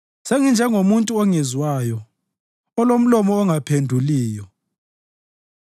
senginjengomuntu ongezwayo, olomlomo ongaphenduliyo.